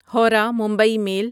Howrah Mumbai میل